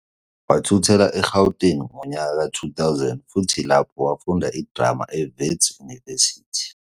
Wathuthela eGauteng ngonyaka ka-2000 futhi lapho, wafunda iDrama eWits University.